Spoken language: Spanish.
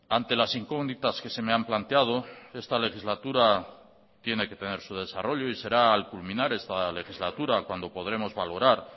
ante las incógnitas que se me han planteado esta legislatura tiene que tener su desarrollo y será al culminar esta legislatura cuando podremos valorar